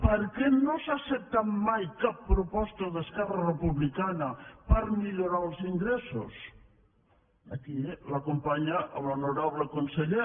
per què no s’ha acceptat mai cap proposta d’esquerra republicana per millorar els ingressos aquí l’acompanya l’honorable conseller